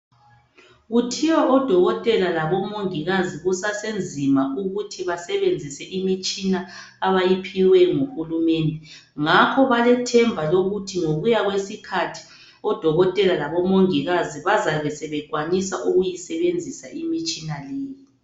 Kuthiwa odokotela labo mongikazi kusasenzima ukuthi basebenzise imitshina abayiphiwe nguhulumende ngakho balethemba lokuthi ngokuya kwesikhathi odokotela labo mongikazi bazabe sebekwanisa ukuyi sebenzisa imitshina leyi.